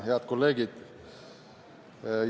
Head kolleegid!